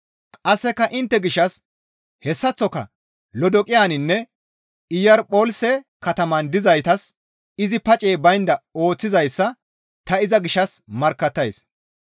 Qasseka intte gishshas hessaththoka Lodoqiyaninne Iyarpolise kataman dizaytas izi pacey baynda ooththizayssa ta iza gishshas markkattays.